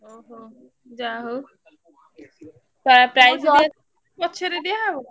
ଓହୋ ଯାହା ହଉ ପଛରେ ଦିଆ ହବ?